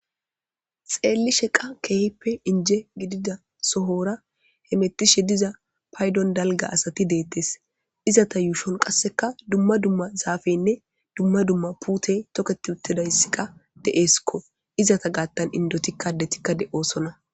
xeelli sheqa keehippe inje gidida sohora he mettishe diza paydon dalga asati deettes izata yuushon qasseka dumma dumma zaafeynne dumma dumma puutey toketi uttidayssika de7eeskko izata gaattan indotikka detikka de7osona